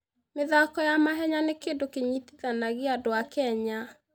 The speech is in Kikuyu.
mĩthako ya mahenya nĩ kĩndũ kĩnyitithanagia andũ a Kenya.